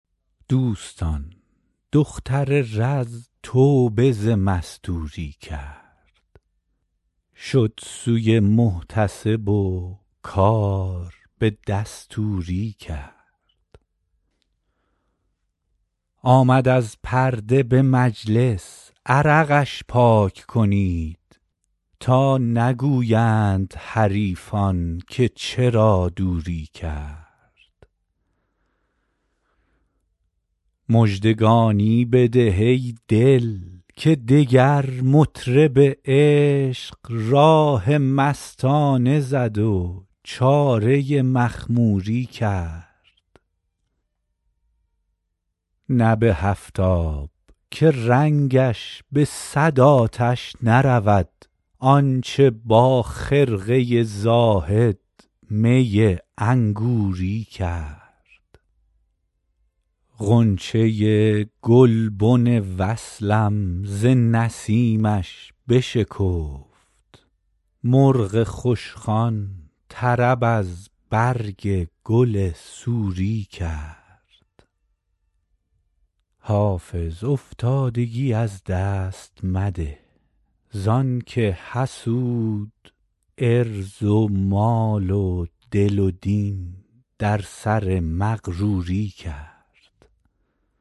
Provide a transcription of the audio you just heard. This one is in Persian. دوستان دختر رز توبه ز مستوری کرد شد سوی محتسب و کار به دستوری کرد آمد از پرده به مجلس عرقش پاک کنید تا نگویند حریفان که چرا دوری کرد مژدگانی بده ای دل که دگر مطرب عشق راه مستانه زد و چاره مخموری کرد نه به هفت آب که رنگش به صد آتش نرود آن چه با خرقه زاهد می انگوری کرد غنچه گلبن وصلم ز نسیمش بشکفت مرغ خوشخوان طرب از برگ گل سوری کرد حافظ افتادگی از دست مده زان که حسود عرض و مال و دل و دین در سر مغروری کرد